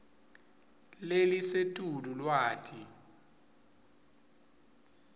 lelisetulu lwati